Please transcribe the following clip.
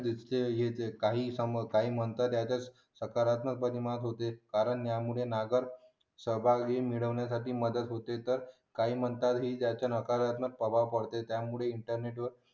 नुसते हे काही काम त्याच्यात प्रसारात नच होते कारण यामुळे सहभागी होण्यासाठी मदत होते तर